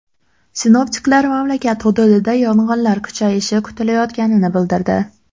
Sinoptiklar mamlakat hududida yog‘inlar kuchayishi kutilayotganini bildirdi.